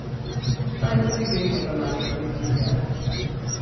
Saj vsi vemo, da manjka pet milijard.